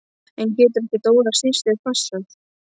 En getur ekki Dóra systir passað?